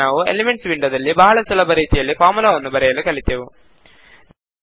ಈಗ ನಾವು ಎಲಿಮೆಂಟ್ಸ್ ವಿಂಡೋದಲ್ಲಿ ಬಹಳ ಸುಲಭ ರೀತಿಯಲ್ಲಿ ಫಾರ್ಮುಲಾವನ್ನು ಬರೆಯಲು ಕಲಿತೆವು